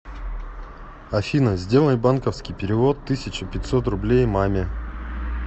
афина сделай банковский перевод тысяча пятьсот рублей маме